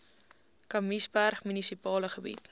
kamiesberg munisipale gebied